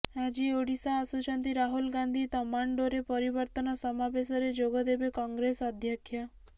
ଆଜି ଓଡ଼ିଶା ଆସୁଛନ୍ତି ରାହୁଲ ଗାନ୍ଧି ତମାଣ୍ଡୋରେ ପରିବର୍ତ୍ତନ ସମାବେଶରେ ଯୋଗଦେବେ କଂଗ୍ରେସ ଅଧ୍ୟକ୍ଷ